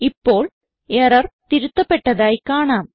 ഇപ്പോൾ എറർ തിരുത്തപ്പെട്ടതായി കാണാം